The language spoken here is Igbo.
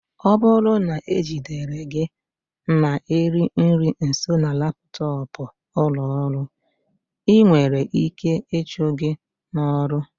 Ọ bụrụ na e jidere gị na-eri nri nso na laptọọpụ ụlọ ọrụ, ị nwere ike ịchụ gị n'ọrụ